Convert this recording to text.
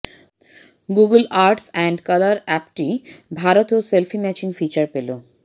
Google arts and culture অ্যাপটি ভারতেও selfie matching feature পেল